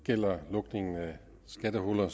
gælder lukningen af skattehuller